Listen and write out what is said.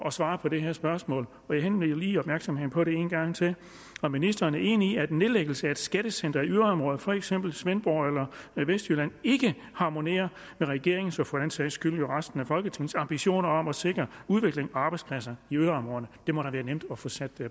at svare på det her spørgsmål og jeg henleder lige opmærksomheden på det en gang til er ministeren enig i at nedlæggelse af et skattecenter i et yderområde for eksempel svendborg eller vestjylland ikke harmonerer med regeringens og for den sags skyld jo resten af folketingets ambitioner om at sikre udvikling og arbejdspladser i yderområderne det må da være nemt at få sat